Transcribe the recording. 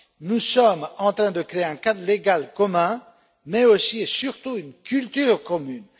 Nous sommes en train de créer un cadre juridique commun, mais aussi et surtout une culture commune.